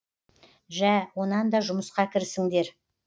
жә онан да жұмысқа кірісіңдер